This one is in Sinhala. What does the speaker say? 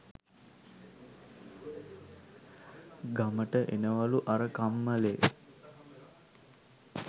ගමට එනවලු අර කම්මලේ